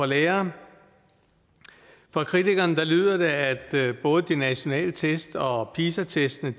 lærere fra kritikerne lyder det at både de nationale test og pisa testene